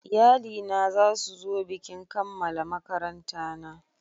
Iyali na za su zo bikin kammala makaranta na